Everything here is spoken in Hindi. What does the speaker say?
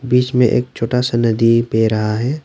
बीच में एक छोटा सा नदी बह रहा है।